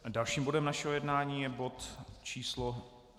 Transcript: Dalším bodem našeho jednání je bod číslo